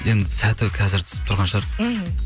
енді сәті қазір түсіп тұрған шығар мхм